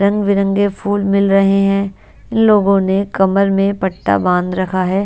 रंग बिरंगे फूल मिल रहे हैं लोगो ने कमर मे पट्टा बांध रखा है।